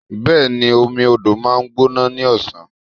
Bẹ́ẹ̀ni, omi odò ma ń gbóná ní ọ̀sán.